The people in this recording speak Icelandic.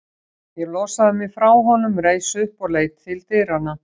Ég losaði mig frá honum, reis upp og leit til dyranna.